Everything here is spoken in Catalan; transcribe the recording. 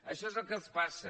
això és el que els passa